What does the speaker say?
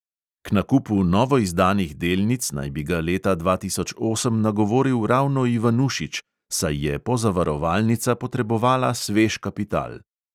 K nakupu novoizdanih delnic naj bi ga leta dva tisoč osem nagovoril ravno ivanušič, saj je pozavarovalnica potrebovala svež kapital.